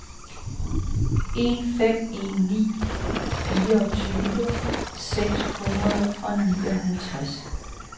en fem en ni fireogtyve seks hundrede og enoghalvtreds